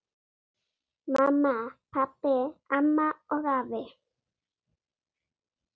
Mamma, pabbi, amma og afi.